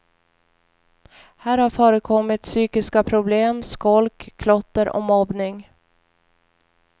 Här har förekommit psykiska problem, skolk, klotter och mobbning.